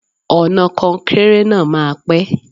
Ọ̀nà kọnkéré náà máa pẹ́.